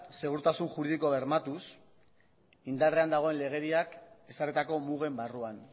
segurtasun juridiko bermatuz indarrean dagoen legediak ezarritako mugen barruan